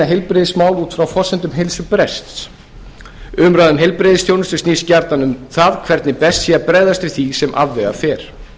heilbrigðismál út frá forsendum heilsubrests umræða um heilbrigðisþjónustu snýst gjarnan um það hvernig best sé að bregðast við því sem afvega fer